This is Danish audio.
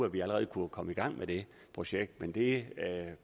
at vi allerede kunne komme i gang med det projekt men det